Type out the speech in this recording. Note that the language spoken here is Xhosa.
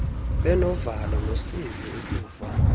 benovalo nosizi ukuva